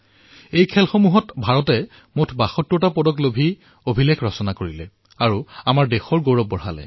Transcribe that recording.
এই ক্ৰীড়াত ভাৰতে মুঠ ৭২টা পদকেৰে এক নতুন অভিলেখ ৰচনা কৰি ভাৰতৰ গৌৰৱ বৃদ্ধি কৰিছে